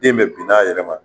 Den bɛɛ binn'a yɛrɛ ma